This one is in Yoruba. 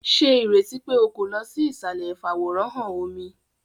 Ṣe ireti pe o ko lọ sí isalẹ ifaworanhan omí!?